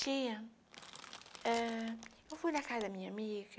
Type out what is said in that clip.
Tinha... Eh, eu fui na casa da minha amiga,